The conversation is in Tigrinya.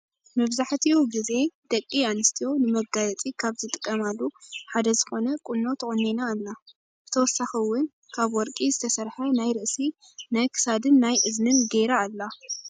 መብዛሕቲኡ ግዜ ደቂ ኣንስትዮ ንመጋየፂ ካብ ዝጥቀማሉ ሓደ ዝኮነ ቁኖ ተቆኒና ኣላ። ብተወሳኪ እውን ካብ ወርቂ ዝተሰረሐ ናይ ርእሲ ናይ ክሳድን ናይ እዝንን ገይራ ኣላ።